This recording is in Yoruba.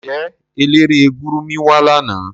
Nje elere gurmi wa lana?